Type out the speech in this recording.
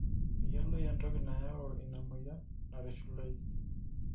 meyioloi entoki nayau ina moyia narish iloik